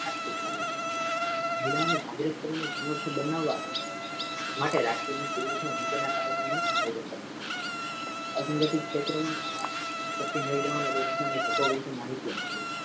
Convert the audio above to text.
આર્થિક કાર્યક્રમો મહિલાઓને જાગૃત કરી ગુણવત બનાવતા માટે રાષ્ટ્રીય નીતિ ના કાર્યક્રમો નું આયોજન કરવા મા આવે છે અધિવાધિક ક્ષેત્ર મા કામ કરતી મહિલાઓને રોજગારની તકો વિષે માહિતી આપવી.